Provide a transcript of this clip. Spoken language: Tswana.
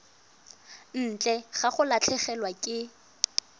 ntle ga go latlhegelwa ke